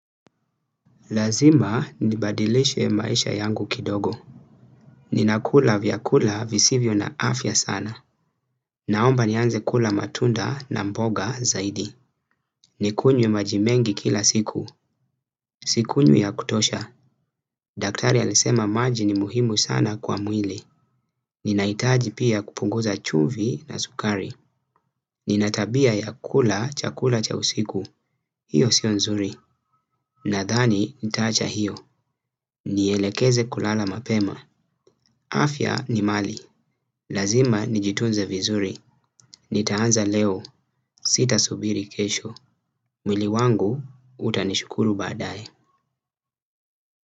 Lazima nibadilishe maisha yangu kidogo. Ninakula vyakula visivyo na afya sana. Naomba nianze kula matunda na mboga zaidi. Nikunywe maji mengi kila siku. Sikunywi ya kutosha. Daktari alisema maji ni muhimu sana kwa mwili. Ninaitaji pia kupunguza chumvi na sukari. Nina tabia ya kula chakula cha usiku. Hiyo sio nzuri. Nadhani nitaacha hiyo. Nielekeze kulala mapema. Afya ni mali, lazima ni jitunze vizuri. Nitaanza leo, sitasubiri kesho. Mwili wangu, utanishukuru baadae.